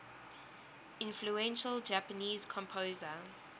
influential japanese composer